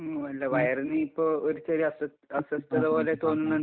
മ്, അല്ല വയറിനിപ്പോ ഒരു ചെറിയ അസ്വസ്ഥത പോലെ തോന്നുന്നുണ്ട്.